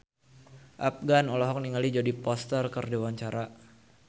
Afgan olohok ningali Jodie Foster keur diwawancara